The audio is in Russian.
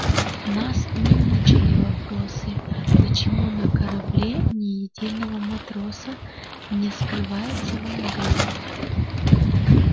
нас не мучили вопросы почему на корабле ни единого матроса не скрывается во мгле